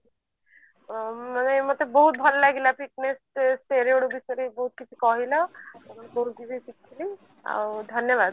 ଉଁ ମତେ ବହୁତ ଭଲ ଲାଗିଲା fitness steroid ବିଷୟରେ ବହୁତ କିଛି କହିଲ ମୁଁ ବହୁତ କିଛି ଶିଖିଲି ଆଉ ଧନ୍ୟବାଦ